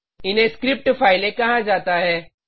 इन्हें स्क्रिप्ट फाइलें कहा जाता है